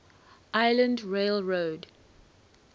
island rail road